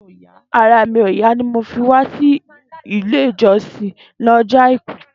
Àrà mi ó yà ni mi ò fi wà si ilé ijọsin ni óni ọjọ áikù